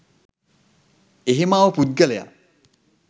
එහෙම ආව පුද්ගලයා